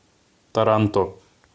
таранто